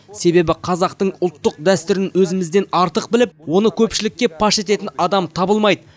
себебі қазақтың ұлттық дәстүрлерін өзімізден артық біліп оны көпшілікке паш ететін адам табылмайды